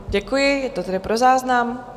Děkuji, je to tedy pro záznam.